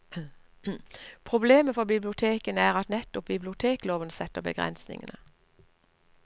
Problemet for bibliotekene er at nettopp bibliotekloven setter begrensningene.